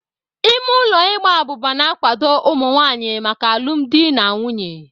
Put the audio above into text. Ime ụlọ Ịgba abuba na-akwado ụmụ nwanyị maka alụmdi na nwunye.